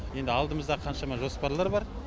енді алдымызда қаншама жоспарлар бар